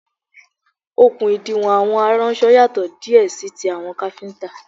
Okùn ìdiwọ̀n àwọn aránṣọ yàtò díè sí ti àwọn káfíntà.